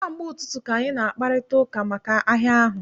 Kamgbe ụtụtụ ka anyị na-akparịta ụka maka ahịa ahụ.